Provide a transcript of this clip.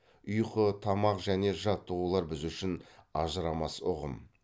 ұйқы тамақ және жаттығулар біз үшін ажырамас ұғым